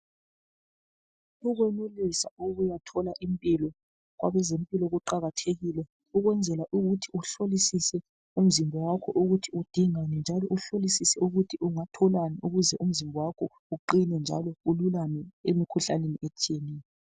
ukwenelisa ukuyathola impilo kwabezempilo kuqakathekile ukwenzela ukuthi uhlolisise umzimba wakho ukuthi udingani njalo uhlolisise ukuthi ungatholani ukuze umzimba wakho uqine njalo ululame emikhuhlaneni etshiyeneyo